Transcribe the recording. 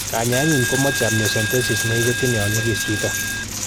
Kanyaenyin komoche amniocentesis negiketyin yon nyigis chito.